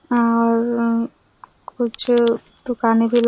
और उह कुछ दुकान भी लगी--